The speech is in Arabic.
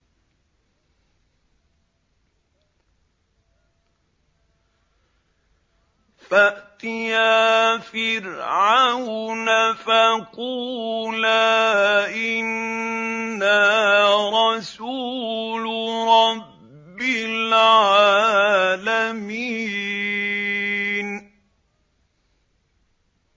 فَأْتِيَا فِرْعَوْنَ فَقُولَا إِنَّا رَسُولُ رَبِّ الْعَالَمِينَ